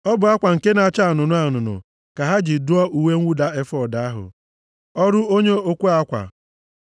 Ọ bụ akwa nke na-acha anụnụ anụnụ, + 39:22 Maọbụ, buluu ka ha ji dụọ uwe mwụda efọọd ahụ, ọrụ onye okwe akwa.